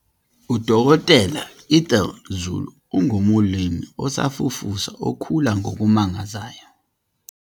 UDkt Ethel Zulu ungumlimi osafufusa okhula ngokumangazayo.